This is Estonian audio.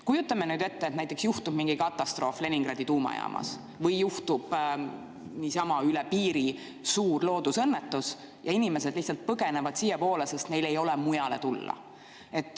Kujutame ette, et näiteks juhtub mingi katastroof Leningradi tuumajaamas või juhtub teisel pool piiri suur loodusõnnetus ja inimesed lihtsalt põgenevad siiapoole, sest neil ei ole mujale minna.